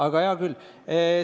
Aga hea küll.